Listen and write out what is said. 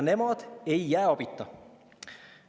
Nemad ei jää abita.